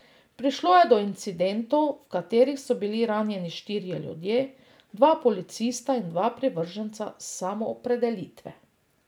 Prišlo je do incidentov, v katerih so bili ranjeni štirje ljudje, dva policista in dva privrženca Samoopredelitve.